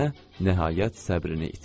Nənə nəhayət səbrini itirdi.